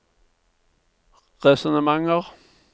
resonnementer